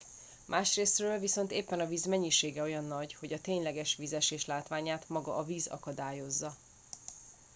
másrészről viszont éppen a víz mennyisége olyan nagy hogy a tényleges vízesés látványát maga a víz akadályozza